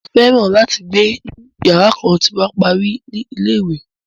Màá fẹ́ràn láti gbé ni yàrá kan tí n bá parí ní ilé-ìwé.